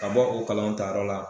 Ka bɔ o kalanw ta yɔrɔ la